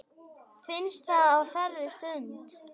Finnst það á þeirri stund.